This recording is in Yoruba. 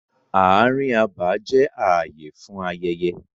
Ààrin abà jẹ́ ààyè fún ayẹyẹ.